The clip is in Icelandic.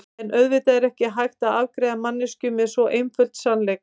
En auðvitað er ekki hægt að afgreiða manneskju með svo einföldum sannleik.